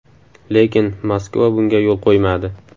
Lekin Moskva bunga yo‘l qo‘ymadi.